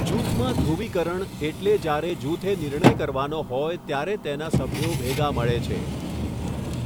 જૂથમાં ધ્રુવીકરણ એટલે જ્યારે જૂથે નિર્ણય કરવાનો હોય ત્યારે તેના સભ્યો ભેગા મળે છે.